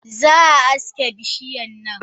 Zaa aske bishiyan nan.